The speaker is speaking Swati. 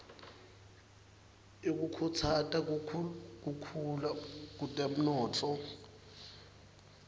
yekukhutsata kukhula kutemnotfo